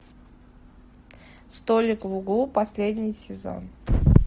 столик в углу последний сезон